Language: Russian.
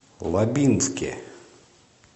лабинске